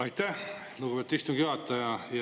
Aitäh, lugupeetud istungi juhataja!